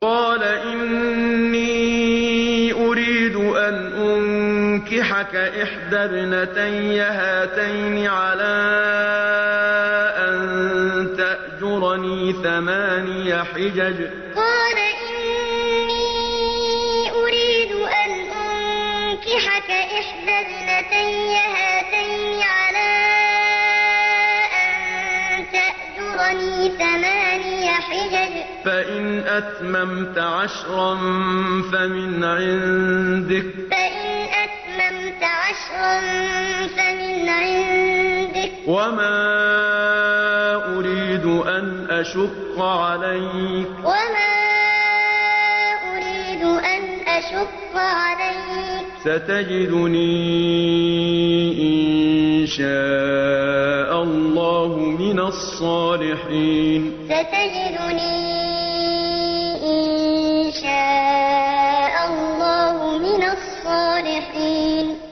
قَالَ إِنِّي أُرِيدُ أَنْ أُنكِحَكَ إِحْدَى ابْنَتَيَّ هَاتَيْنِ عَلَىٰ أَن تَأْجُرَنِي ثَمَانِيَ حِجَجٍ ۖ فَإِنْ أَتْمَمْتَ عَشْرًا فَمِنْ عِندِكَ ۖ وَمَا أُرِيدُ أَنْ أَشُقَّ عَلَيْكَ ۚ سَتَجِدُنِي إِن شَاءَ اللَّهُ مِنَ الصَّالِحِينَ قَالَ إِنِّي أُرِيدُ أَنْ أُنكِحَكَ إِحْدَى ابْنَتَيَّ هَاتَيْنِ عَلَىٰ أَن تَأْجُرَنِي ثَمَانِيَ حِجَجٍ ۖ فَإِنْ أَتْمَمْتَ عَشْرًا فَمِنْ عِندِكَ ۖ وَمَا أُرِيدُ أَنْ أَشُقَّ عَلَيْكَ ۚ سَتَجِدُنِي إِن شَاءَ اللَّهُ مِنَ الصَّالِحِينَ